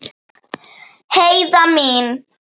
Heiða mín.